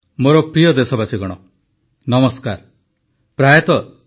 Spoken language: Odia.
ପ୍ରଧାନମନ୍ତ୍ରୀ ଶ୍ରୀ ନରେନ୍ଦ୍ର ମୋଦୀଙ୍କ ରେଡ଼ିଓ ଅଭିଭାଷଣ ମନ କି ବାତର ଓଡ଼ିଆ ଭାଷାନ୍ତର